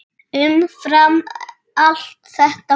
Umfram allt þetta fólk.